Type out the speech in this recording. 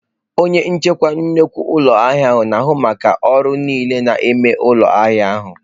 Onye njikwa nnukwu ụlọ ahịa na-ahụ maka ọrụ niile na-eme ụlọ ahịa ahụ.